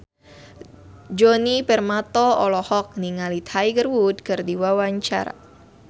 Djoni Permato olohok ningali Tiger Wood keur diwawancara